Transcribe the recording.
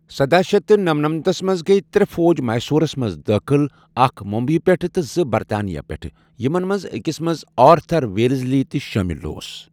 سداہ شیٚتھ تہٕ نمنمتس منٛز گٔیہ ترٛےٚ فوج میسورس منٛز دٲخِل، اکھ بمبیہِ پیٹھٕ تہٕ زٕ برطانیہ پیٹھہ یِمن منٛز أکِس منٛز آرتھر ویلزلی تہِ شٲمِل اوس۔